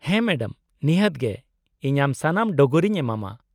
-ᱦᱮᱸ ᱢᱮᱰᱟᱢ, ᱱᱤᱦᱟᱹᱛ ᱜᱮ ᱤᱧ ᱟᱢ ᱥᱟᱱᱟᱢ ᱰᱚᱜᱚᱨᱤᱧ ᱮᱢᱟᱢᱟ ᱾